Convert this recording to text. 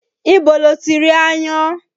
Ibo lo ti rí aáyán?